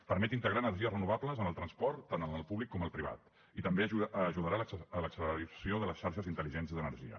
permet integrar energies renovables en el transport tant en el públic com el privat i també ajudarà l’acceleració de les xarxes intel·ligents d’energia